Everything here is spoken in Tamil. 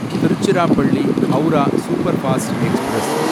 Tiruchirappalli Howrah superfast express